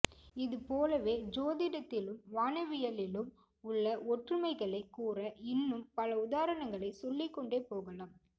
இது போலவே சோதிடத்திலும் வானவியலிலும் உள்ள ஒற்றுமைகளைக் கூற இன்னும் பல உதாரணங்களைச் சொல்லிக்கொண்டே போகலாம்